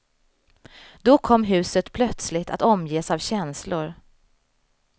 Då kom huset plötsligt att omges av känslor.